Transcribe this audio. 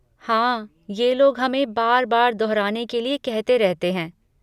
हाँ, ये लोग हमें बार बार दोहराने के लिए कहते रहते हैं।